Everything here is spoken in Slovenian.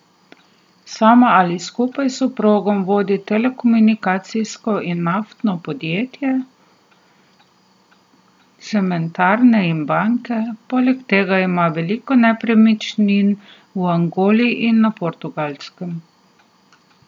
Sama ali skupaj s soprogom vodi telekomunikacijska in naftna podjetja, cementarne in banke, poleg tega ima veliko nepremičnin v Angoli in na Portugalskem.